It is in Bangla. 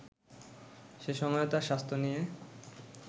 সে সময়ও তার স্বাস্থ্য নিয়ে